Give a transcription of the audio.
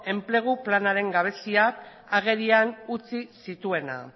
enplegu planaren gabeziak agerian utzi zituena